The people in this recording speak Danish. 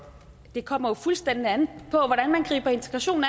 det kommer jo fuldstændig an på hvordan man griber integrationen